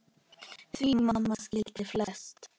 Því mamma skildi flest.